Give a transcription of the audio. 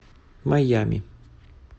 майами